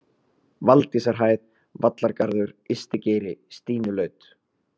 Valdysarhæð, Vallargarður, Ystigeiri, Stínulaut